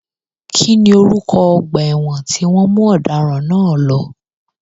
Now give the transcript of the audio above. Kí ni orúkọ ọgbà ẹ̀wọ̀n tí wọ́n mú ọ̀daràn náà lọ?